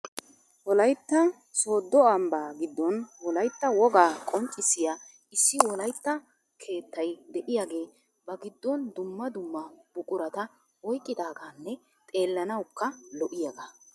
Wolaytta Soddo ambba giddon, Wolaytta wogaa qonccissiya issi Wolaytta keettay de'iyaagee ba giddon dumma dumma buqurata oyqqidaaganne xeelanawukka lo''iyaaga .